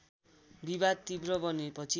विवाद तीव्र बनेपछि